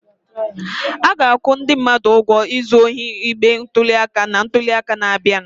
A ga-akwụ ndị mmadụ ụgwọ izu ohi igbe ntuli aka na ntuli aka na-abịa.